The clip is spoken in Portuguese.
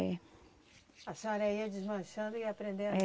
É. A senhora ia desmanchando e ia aprendendo?